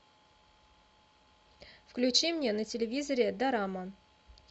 включи мне на телевизоре дорама